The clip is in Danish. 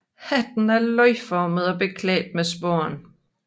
Hatten er løgformet og beklædt med spån